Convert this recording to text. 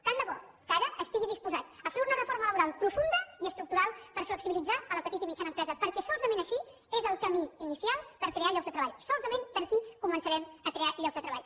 tant de bo que ara estigui disposat a fer una reforma laboral profunda i estructural per flexibilitzar la petita i mitjana empresa perquè solament aquest és el camí inicial per crear llocs de treball solament per aquí començarem a crear llocs de treball